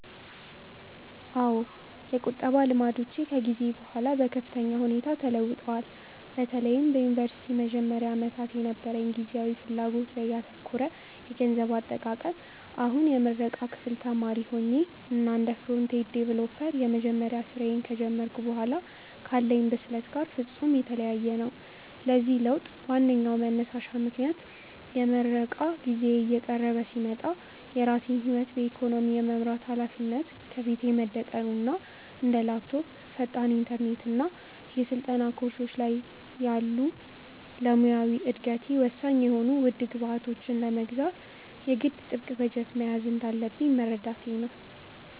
አዎ፣ የቁጠባ ልማዶቼ ከጊዜ በኋላ በከፍተኛ ሁኔታ ተለውጠዋል፤ በተለይም በዩኒቨርሲቲ መጀመሪያ ዓመታት የነበረኝ ጊዜያዊ ፍላጎት ላይ ያተኮረ የገንዘብ አጠቃቀም አሁን የምረቃ ክፍል ተማሪ ሆኜ እና እንደ ፍሮንት-ኤንድ ዌብ ዲቨሎፐር የመጀመሪያ ስራዬን ከጀመርኩ በኋላ ካለኝ ብስለት ጋር ፍጹም የተለያየ ነው። ለዚህ ለውጥ ዋነኛው መንሳሽ ምክንያት የምረቃ ጊዜዬ እየቀረበ ሲመጣ የራሴን ህይወት በኢኮኖሚ የመምራት ሃላፊነት ከፊቴ መደቀኑ እና እንደ ላፕቶፕ፣ ፈጣን ኢንተርኔት እና የስልጠና ኮርሶች ያሉ ለሙያዊ እደገቴ ወሳኝ የሆኑ ውድ ግብዓቶችን ለመግዛት የግድ ጥብቅ በጀት መያዝ እንዳለብኝ መረዳቴ ነው።